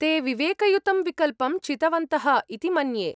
ते विवेकयुतं विकल्पं चितवन्तः इति मन्ये।